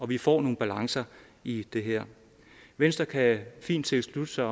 vi får nogle balancer i det her venstre kan fint tilslutte sig